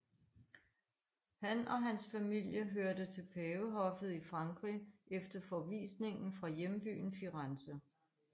Han og hans familie hørte til pavehoffet i Frankrig efter forvisningen fra hjembyen Firenze